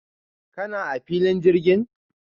kana a filin jirgin?